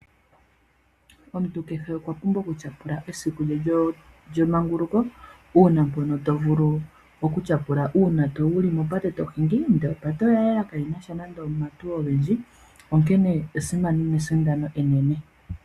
Omuntu kehe okwapumbwa okutyapula esiku lye lyemanguluko. Uuna mpono tovulu okutyapula uuna wuli mopate tohingi ndee opate oyayela, kayinasha nande omahauto ogendji. Onkenee esimano nesindano enene.